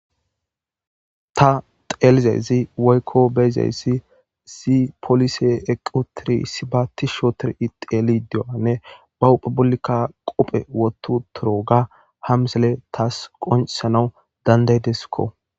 Ta teelizayzi woykko beyzayssi si polise equ tiri si ba ti shootor ixeli dioanne ba huphebullikka qophe wotu toro ga hamsele taas qonesanaw dandaydeskko.